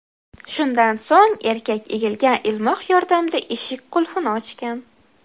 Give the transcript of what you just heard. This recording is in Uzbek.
Shundan so‘ng, erkak egilgan ilmoq yordamida eshik qulfini ochgan.